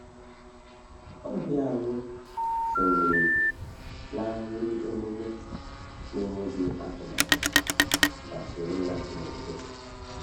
Ọbịa anyị sonyere n’ahịrị emume n’enweghị atụmatụ ma soro ya n’udo.